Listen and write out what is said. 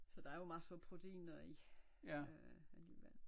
Så der er jo masser af proteiner i øh alligevel